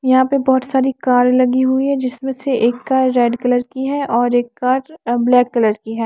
यहाँ पे बहुत सारी कार लगी हुई है जिसमें से एक कार रेड कलर की है और एक कार अ ब्लैक कलर की है।